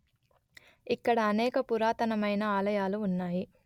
ఇక్కడ అనేక పురాతనమైన ఆలయాలు ఉన్నాయి